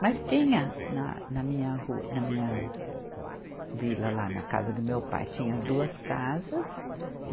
Mas tinha na, na minha rua, na minha vila lá, na casa do meu pai, tinha duas casas.